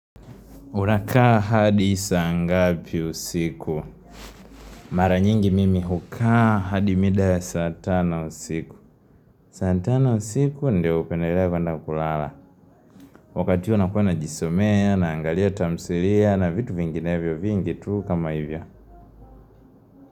Unakaa hadi saa ngapi usiku? Mara nyingi mimi hukaa hadi mida ya saa tano usiku. Saa tano usiku ndio hupendalia kwa ndakulala. Wakati huu nakuwa najisomea, naangalia tamthilia, na vitu vingine vio vingitu kama hivyo.